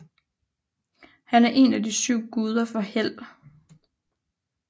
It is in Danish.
Han er en af de syv guder for held